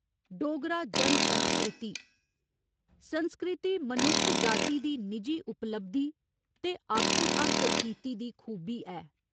डोगरा जन संस्कृति 'संस्कृति' मनुक्ख जाति दी निजी उपलब्धि ते आपूं हासल कीती दी खूबी ऐ।